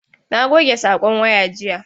Na goge sakon waya jiya.